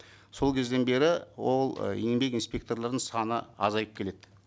сол кезден бері ол ы еңбек инспекторларының саны азайып келеді